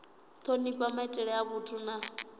thonifha maitele a vhathu na